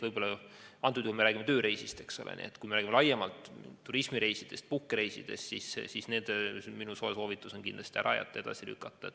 Antud juhul me räägime tööreisist, eks ole, aga kui me räägime laiemalt turismireisidest, puhkusereisidest, siis nende puhul on minu soe soovitus kindlasti reis ära jätta või edasi lükata.